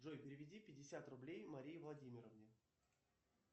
джой переведи пятьдесят рублей марии владимировне